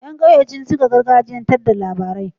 Yan ƙauye sun cika gargajiyan tar da labarai